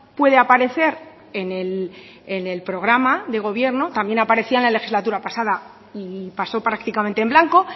puede aparecer en el programa de gobierno también aparecía en la legislatura pasada y pasó prácticamente en blanco